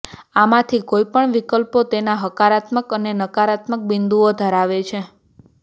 આમાંથી કોઈપણ વિકલ્પો તેના હકારાત્મક અને નકારાત્મક બિંદુઓ ધરાવે છે